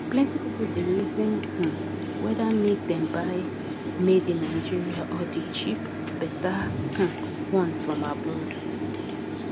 plenty people dey reason um whether make dem buy madeinnigeria or the cheap better um one from abroad